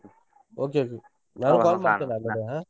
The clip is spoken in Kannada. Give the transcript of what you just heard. Okay, okay.